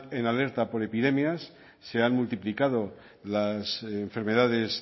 en alerta por epidemias se han multiplicado las enfermedades